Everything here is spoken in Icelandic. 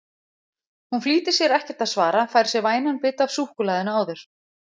Hún flýtir sér ekkert að svara, fær sér vænan bita af súkkulaðinu áður.